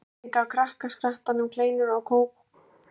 Oddný gaf krakkaskaranum kleinur og mjólk í eldhúsinu.